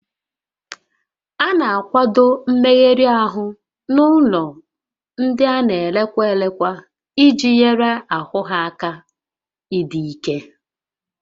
A na-akwado mmegharị ahụ n'ụlọ ndị a na elekwa elekwa iji nyere ahụ ha aka ịdị ike